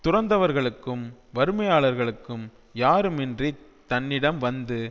துறந்தவர்களுக்கும் வறுமையாளர்களுக்கும் யாருமின்றித் தன்னிடம் வந்து